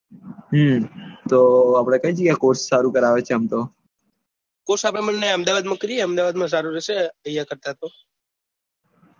હમ તો આપડે કઈ જગ્યાએ course ચાલુ કરાવે છે આમ તો course આપડે બે અહેમદાબાદ માં કરીએ અહેમદાબાદ માં સારું રેહશે અહિયાં કરતા